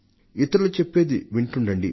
ఇతరులు చెప్పేది వింటుండండి